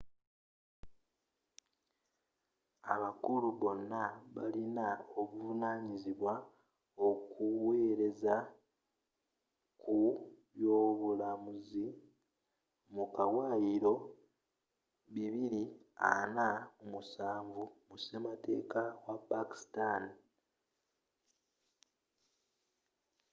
abakulu bano balin'obuvanyizibwa okuwelezza ku by'obulamuzzu mu kawayiro bibiri ana mu musanvu 247 mu sematekka wa pakistani